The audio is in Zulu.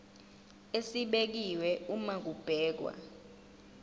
esibekiwe uma kubhekwa